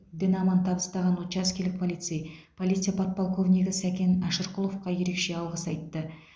дін аман табыстаған учаскелік полицей полиция подполковнигі сакен әшірқұловқа ерекше алғыс айтты